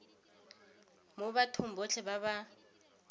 mo bathong botlhe ba ba